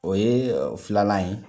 O ye filalan ye.